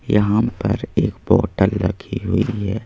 यहां पर एक बोतल रखी हुई है।